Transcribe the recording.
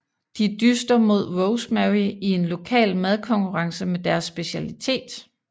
De dyster mod Rosemary i en lokal madkonkurrence med deres specialitet